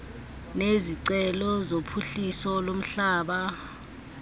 nezicelo zophuhliso lomhlaba